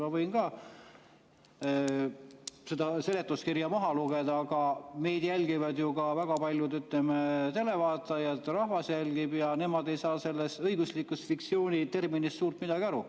Ma võin ka seda seletuskirja maha lugeda, aga meid jälgivad ka väga paljud televaatajad, rahvas jälgib, ja nemad ei saa sellest õigusliku fiktsiooni terminist suurt midagi aru.